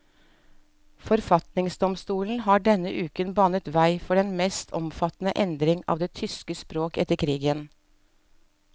Forfatningsdomstolen har denne uken banet vei for den mest omfattende endring av det tyske språk etter krigen.